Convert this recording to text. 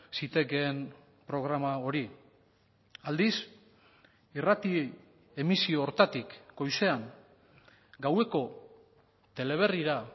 zitekeen programa hori aldiz irrati emisio horretatik goizean gaueko teleberrira